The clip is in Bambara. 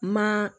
Ma